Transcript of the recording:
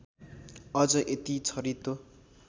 अझ यति छरितो